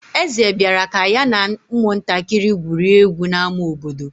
Eze bịara ka ya na ụmụntakịrị gwurie egwu n'ámá obodo.